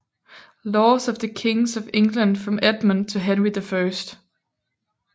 Laws of the Kings of England from Edmund to Henry I